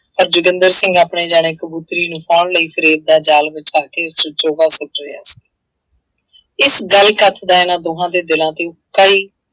ਪਰ ਜੋਗਿੰਦਰ ਸਿੰਘ ਆਪਣੇ ਜਾਣੇ ਕਬੂਤਰੀ ਨੂੰ ਪਾਉਣ ਲਈ ਫ਼ਰੇਬ ਦਾ ਜ਼ਾਲ ਵਿਛਾ ਕੇ ਉਸ ਵਿੱਚ ਚੋਗਾ ਸੁੱਟ ਰਿਹਾ ਸੀ ਇਸ ਗੱਲ ਘੱਤ ਦਾ ਇਹਨਾਂ ਦੋਹਾਂ ਦੇ ਦਿਲਾਂ ਤੇ